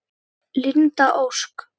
Linda Ósk.